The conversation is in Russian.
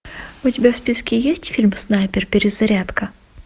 у тебя в списке есть фильм снайпер перезарядка